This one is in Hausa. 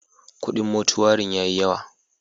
Kudin motuarin ya yi yawa.